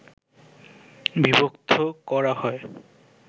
বিভক্ত করা হয়